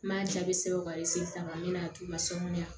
N m'a jaabi sɛbɛn ka ta ka n'a t'u la sɔnuya